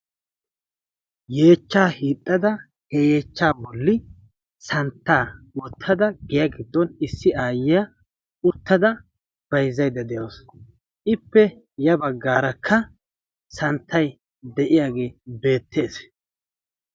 Yeechcha hiixxada, he yeechchaa bolli santta wottada giya giddon issi aayyiya uttada bayzzaydda de'awus. Ippe ya baggaarakka santtay de'iyaage beettees.